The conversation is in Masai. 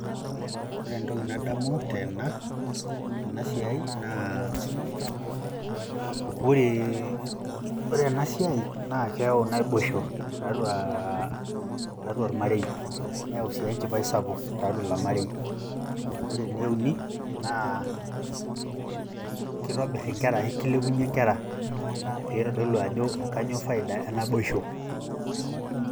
ore entoki nadamu tena siai naaa ore ena asiai naa keyau naboisho tiatua , tiatua oramarei, neyau sii enchipai sapuk tiatua ilo marei, ore ene uni naa kitobir ikere, kilepunye nkera pee eitodolu ajo kanyioo faida enaboisho.